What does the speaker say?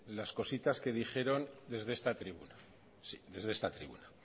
las cositas que dijeron desde esta tribuna sí desde esta tribuna